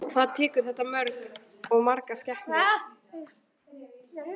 Hvað tekur þetta mörg, margar skepnur?